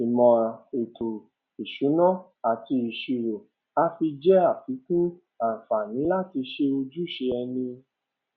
ìmò ètò ìsúná ati ìṣírò àfi jẹ afíkún àǹfààní láti ṣe ojúṣe ẹni